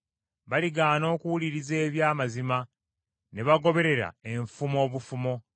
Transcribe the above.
Baligaana okuwuliriza eby’amazima, ne bagoberera enfumo obufumo.